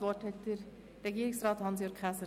Das Wort hat Regierungsrat Hans-Jürg Käser.